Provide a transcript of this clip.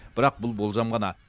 бірақ бұл болжам ғана